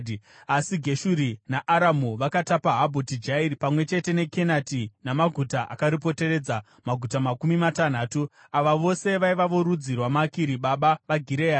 (Asi Geshuri naAramu vakatapa Habhoti Jairi pamwe chete neKenati namaguta akaripoteredza, maguta makumi matanhatu.) Ava vose vaiva vorudzi rwaMakiri baba vaGireadhi.